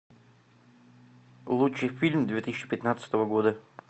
лучший фильм две тысячи пятнадцатого года